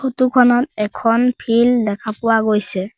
Photo খনত এখন field দেখা পোৱা গৈছে।